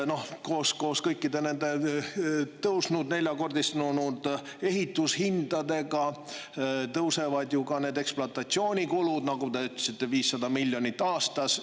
Koos kõikide nende neljakordistunud ehitushindadega tõusevad ju ka ekspluatatsioonikulud, nagu te ütlesite, need on 500 miljonit aastas.